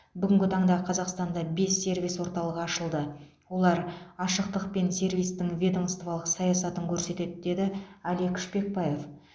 бүгінгі таңда қазақстанда бес сервис орталығы ашылды олар ашықтық пен сервистің ведомстволық саясатын көрсетеді деді алик шпекбаев